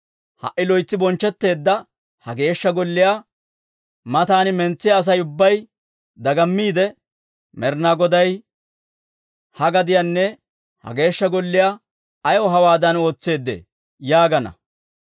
Ha"i loytsi bonchchetteedda ha Geeshsha Golliyaa mataana mentsiyaa Asay ubbay dagammiidde, ‹Med'inaa Goday ha gadiyanne ha Geeshsha Golliyaa ayaw hawaadan ootseedee?› yaagana.